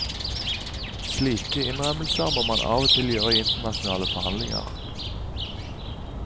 Slike innrømmelser må man av og til gjøre i internasjonale forhandlinger.